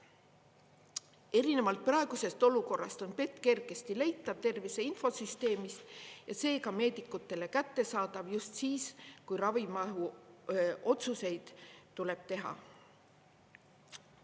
Erinevalt praegusest olukorrast on PET kergesti leitav tervise infosüsteemist ja seega meedikutele kättesaadav just siis, kui ravi mahu otsuseid tuleb teha.